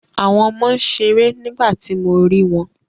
Àwọn ọmọ ń ṣeré nígbà tí mo rí wọn